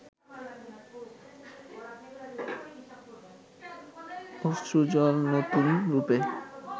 অশ্রুজল নতুন রূপে